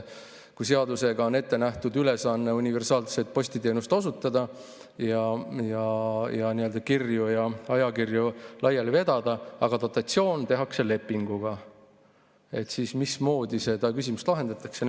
Kui seadusega on ette nähtud ülesanne universaalset postiteenust osutada, kirju ja ajakirju laiali vedada, aga dotatsioon tehakse lepinguga, siis mismoodi seda küsimust lahendatakse?